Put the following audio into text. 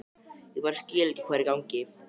Ég bara skil ekki hvað er í gangi.